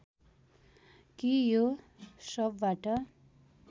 कि यो सबबाट